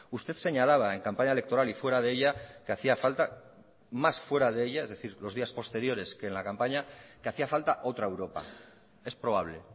usted señalaba en campaña electoral y fuera de ella que hacía falta más fuera de ella es decir los días posteriores que en la campaña que hacía falta otra europa es probable